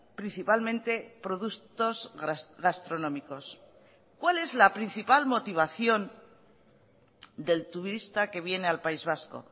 principalmente productos gastronómicos cuál es la principal motivación del turista que viene al país vasco